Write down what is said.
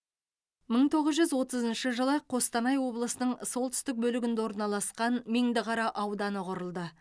мың тоғыз жүз отызыншы жылы қостанай облысының солтүстік бөлігінде орналасқан меңдіқара ауданы құрылды